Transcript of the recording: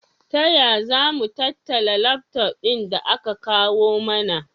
Taya zamu tattala lafton ɗin da aka kawu mana?